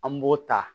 An b'o ta